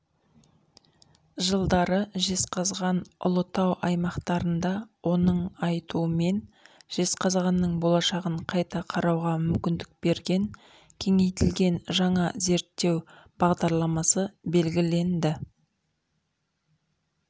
жылдары жезқазған ұлытау аймақтарында оның айтуымен жезқазғанның болашағын қайта қарауға мүмкіндік берген кеңейтілген жаңа зерттеу бағдарламасы белгіленді